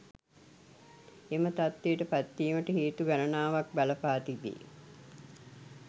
එම තත්ත්වයට පත්වීමට හේතු ගණනාවක් බලපා තිබේ